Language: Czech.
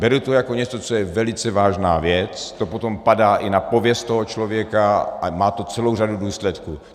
Beru to jako něco, co je velice vážná věc, to potom padá i na pověst toho člověka a má to celou řadu důsledků.